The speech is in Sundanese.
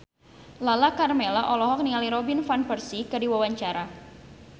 Lala Karmela olohok ningali Robin Van Persie keur diwawancara